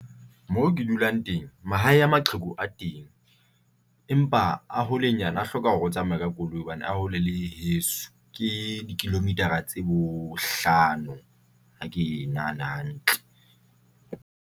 Mo ke dulang teng. Mahae a maqheku a teng, empa a holenyana a hloka hore o tsamaye ka koloi hobane a hole le heso ke di-kilometer-a tse bohlano ha ke e nahana hantle.